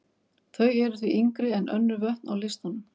Þau eru því yngri en önnur vötn á listanum.